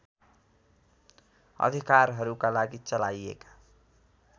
अधिकारहरूका लागि चलाइएका